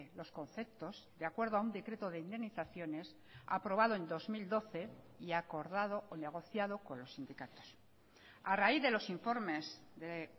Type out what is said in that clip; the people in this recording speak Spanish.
los conceptos de acuerdo a un decreto de indemnizaciones aprobado en dos mil doce y acordado o negociado con los sindicatos a raíz de los informes de